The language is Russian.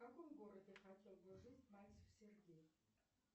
в каком городе хотел бы жить мальцев сергей